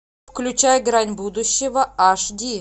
включай грань будущего аш ди